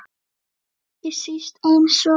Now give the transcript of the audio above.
Ekki síst eins og